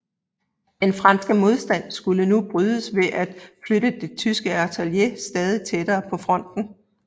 Den franske modstand skulle nu brydes ved at flytte det tyske artilleri stadig tættere på fronten